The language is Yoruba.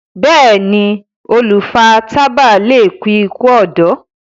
béèni olu fà tábà lẹ kú iku ọdọ.